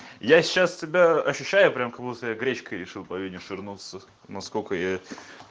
я сейчас себя ощущаю прямо как будто я гречкой решил по вене швырнуться насколько я